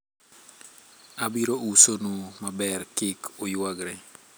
abiro uso nu maber, kik uyuagre